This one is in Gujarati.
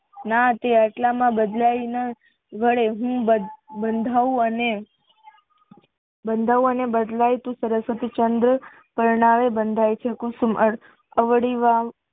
ના તે એટલામાં બદલાય ને વડે હું બંધાય અને બંધાય બદલાયતું સરસ્વતીચંદ્ર પરના એ બંધાય છે કુસુમ